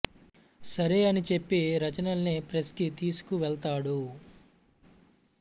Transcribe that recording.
సరే అని చెప్పి రచనల్ని ప్రెస్ కి తీసుకు వెళ్తాడు